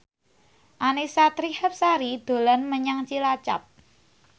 Annisa Trihapsari dolan menyang Cilacap